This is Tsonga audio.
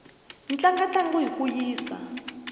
tlanga ntlangu hi ku yisa